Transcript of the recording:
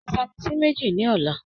Ra Vitamin C méjì ní ọ̀la.